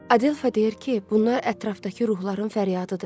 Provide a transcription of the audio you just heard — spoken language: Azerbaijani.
Adelfa deyir ki, bunlar ətrafdakı ruhların fəryadıdır.